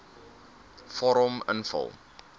vorm invul